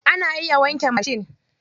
Ana iya wanke mashin.